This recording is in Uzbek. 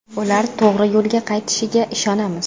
Ular to‘g‘ri yo‘lga qaytishiga ishonamiz.